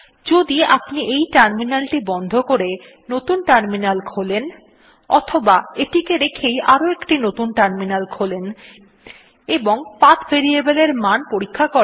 যদি আপনি এই টার্মিনালটি বন্ধ করে নতুন টার্মিনাল খোলেন অথবা এটিকে রেখেই আরো একটি নতুন টার্মিনাল খোলেন এবং পাথ ভেরিয়েবল এর মান পরীক্ষা করেন